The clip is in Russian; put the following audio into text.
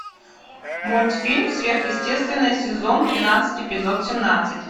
мультфильм сверхъестественное сезон тринадцать эпизод семнадцать